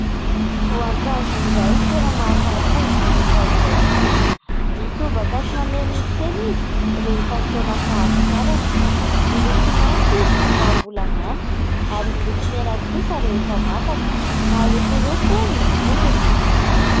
Voankazo iray tena mahasalama ity voankazo iray ity ; mitobaka sy mameno eny an-tsena izy rehefa fotoana fahavokarany miloko maitso izy raha mbola manta ary miloko mena kosa rehefa masaka marokoroko ny hodiny.